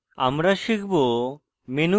আমরা শিখব: